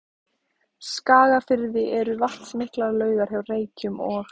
Skagafirði eru vatnsmiklar laugar hjá Reykjum og